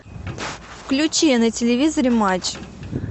включи на телевизоре матч